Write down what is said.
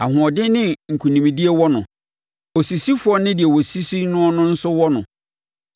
Ahoɔden ne nkonimdie wɔ no osisifoɔ ne deɛ wɔsisi noɔ nso wɔ no.